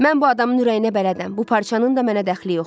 Mən bu adamın ürəyinə bələdəm, bu parçanın da mənə dəxli yoxdur.